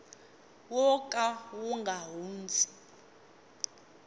wo ka wu nga hundzi